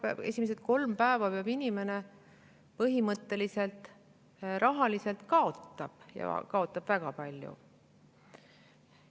Ehk siis esimesed kolm päeva inimene põhimõtteliselt rahaliselt kaotab, ja kaotab väga palju.